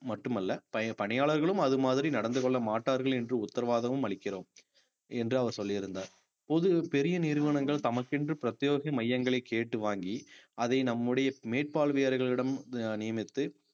மட்டுமல்ல ப~ பணியாளர்களும் அது மாதிரி நடந்து கொள்ளமாட்டார்கள் என்று உத்தரவாதமும் அளிக்கிறோம் என்று அவர் சொல்லியிருந்தார் பொது பெரிய நிறுவனங்கள் தமக்கென்று பிரத்தியோக மையங்களை கேட்டு வாங்கி அதை நம்முடைய மேற்பார்வையாளர்களிடம் நியமித்து